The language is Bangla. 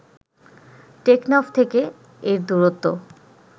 টেকনাফ থেকে এর দূরত্ব